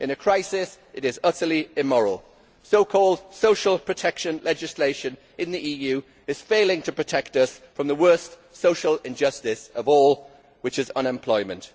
In a crisis it is utterly immoral. So called social protection legislation in the EU is failing to protect us from the worst social injustice of all, which is unemployment.